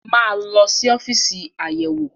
Máa lọ sí ọ́fíìsì Ayẹ̀wé-wò!